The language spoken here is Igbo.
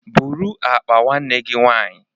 Bụrụ akpa nwanne gi nwaanyị